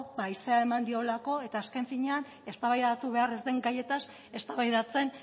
haizea eman diolako eta azken finean eztabaidatu behar ez den gaietaz eztabaidatzen